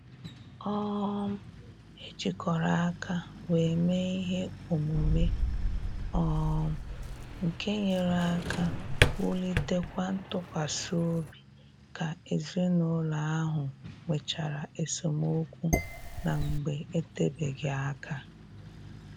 um E jikọrọ aka wee mee ihe omume um nke nyere aka wulitekwa ntụkwasị obi ka ezinụlọ ahụ nwechara esemokwu na mgbe etebeghị aka